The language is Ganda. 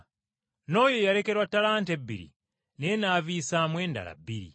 N’oyo eyalekerwa ttalanta ebiri naye n’aviisaamu endala biri.